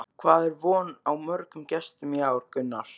Hvað er von á mörgum gestum í ár, Gunnar?